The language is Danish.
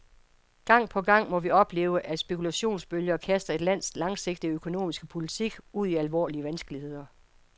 Gang på gang må vi opleve, at spekulationsbølger kaster et lands langsigtede økonomiske politik ud i alvorlige vanskeligheder.